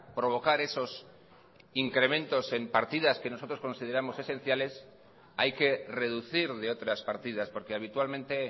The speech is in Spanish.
provocar esos incrementos en partidas que nosotros consideramos esenciales hay que reducir de otras partidas porque habitualmente